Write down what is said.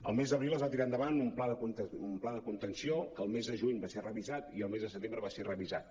al mes d’abril es va tirar endavant un pla de contenció que al mes de juny va ser revisat i al mes de setembre va ser revisat